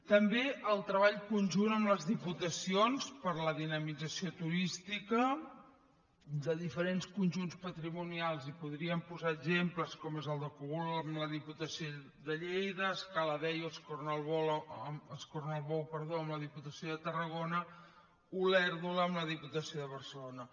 també el treball conjunt amb les diputacions per a la dinamització turística de diferents conjunts patrimonials i podríem posar exemples com són el de cogul amb la diputació de lleida escaladei o escornalbou amb la diputació de tarragona olèrdola amb la diputació de barcelona